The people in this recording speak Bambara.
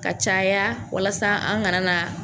Ka caya walasa an kana na